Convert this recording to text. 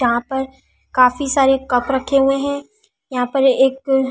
जहां पर काफी सारे कप रखे हुए हैं यहां पर एक--